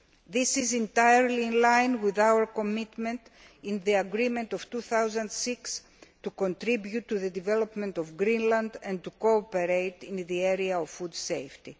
This is entirely in line with our commitment in the agreement of 2006 to contribute to the development of Greenland and to cooperate in the area of food safety.